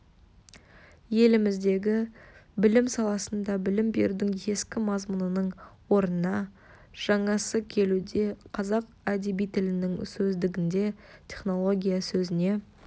еліміздегі білім саласында білім берудің ескі мазмұнының орнына жаңасы келуде қазақ әдеби тілінің сөздігінде технология сөзіне